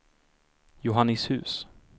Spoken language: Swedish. Johannishus